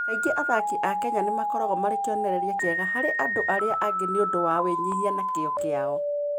Kaingĩ athaki a Kenya nĩ makoragwo marĩ kĩonereria kĩega harĩ andũ arĩa angĩ na ũndũ wa wĩnyihia na kĩyo kĩao.